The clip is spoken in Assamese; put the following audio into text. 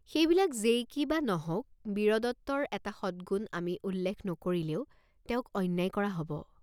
সেইবিলাক যেই কি বা নহওক বীৰদত্তৰ এটা সৎগুণ আমি উল্লেখ নকৰিলে তেওঁক অন্যায় কৰা হব।